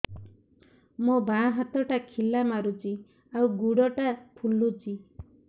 ମୋ ବାଆଁ ହାତଟା ଖିଲା ମାରୁଚି ଆଉ ଗୁଡ଼ ଟା ଫୁଲୁଚି